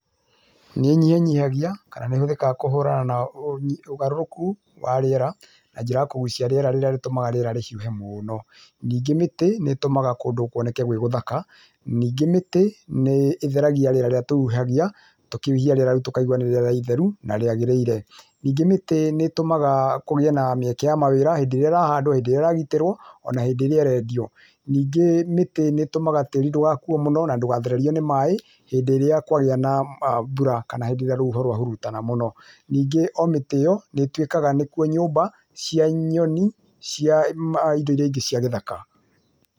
Nĩnyihanyihagia kana nĩhũthĩkaga kũhũrana na ũgarũrũku wa rĩera na njĩra ya kũgucia rĩera rĩrĩa rĩtũmaga rĩera rĩhuhe mũno, nĩngĩ mĩtĩ nĩtũmaga kũndũ kwoneke gwĩ gũthaka, ningĩ mĩtĩ nĩtheragia rĩera rĩrĩa tũhuhagia, tũkĩhuhia rĩera tũkaigua nĩ rĩera rĩtheru na rĩagĩrĩire, ningĩ mĩtĩ nĩtũmaga kũgĩe na mĩeke ya mawĩra hĩndĩ ĩrĩa ĩrahanda, ĩragĩtĩrwa ona hĩndĩ ĩrĩa ĩrendio, ningĩ mĩtĩ nĩtũmaga tĩri ndũgakuwe mũno na ndũgathererio nĩ maĩ hĩndĩ ĩrĩa kwagĩa na mbura kana rĩrĩa rũhuho rwahurutana mũno, ningĩ omĩtĩ ĩo nĩtuĩkaga nĩ nyũmba cia nyoni, cia indo irĩa ingĩ cia gĩthaka.